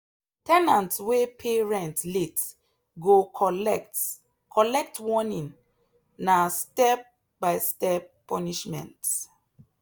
ten ant wey pay rent late go collect collect warning na step-by-step punishment.